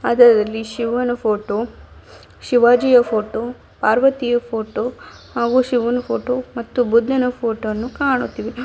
ಅದರದಲ್ಲಿ ಶಿವನ ಫೋಟೋ ಶಿವಾಜಿಯ ಫೋಟೋ ಪಾರ್ವತಿಯ ಫೋಟೋ ಹಾಗೂ ಶಿವನ್ ಫೋಟೋ ಮತ್ತು ಬುದ್ದನ ಫೋಟೋ ಅನ್ನು ಕಾಣುತ್ತಿವೆ.